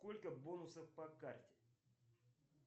сколько бонусов по карте